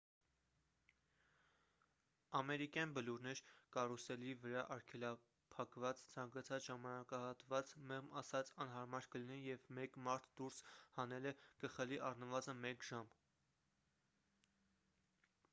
ամերիկյան բլուրներ կարուսելի վրա արգելափակված ցանկացած ժամանակահատված մեղմ ասած անհարմար կլինի և մեկ մարդ դուրս հանելը կխլի առնվազն մեկ ժամ